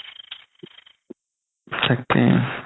তাকেই